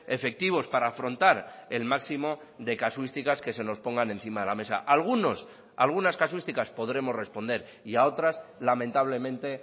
efectivos para afrontar el máximo de casuísticas que se nos pongan encima de la mesa algunos algunas casuísticas podremos responder y a otras lamentablemente